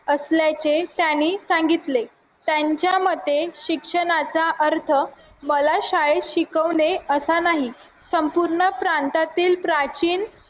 असल्याचे त्यांनी सांगितले यांच्या मते शिक्षणाचा अर्थ मला शाळेत शिकवणे असा नाही संपूर्ण प्रांतातील प्राचीन